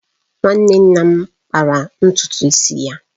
Nwanne nna m kpara ntutu isi ya